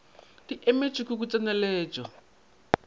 di emetšwe ke go tseneletšwa